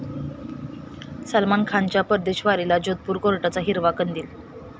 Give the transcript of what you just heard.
सलमान खानच्या परदेशवारीला जोधपूर कोर्टाचा हिरवा कंदील